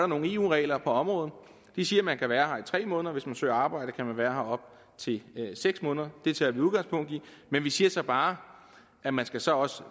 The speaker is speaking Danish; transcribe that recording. nogle eu regler på området de siger man kan være her i tre måneder og hvis man søger arbejde kan man være her op til seks måneder det tager vi udgangspunkt i men vi siger så bare at man så også